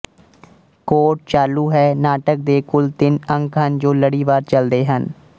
court ਚਾਲੂ ਹੈ ਨਾਟਕ ਦੇ ਕੁਲ ਤਿੰਨ ਅੰਕ ਹਨ ਜੋ ਲੜੀਵਾਰ ਚਲਦੇ ਹਨ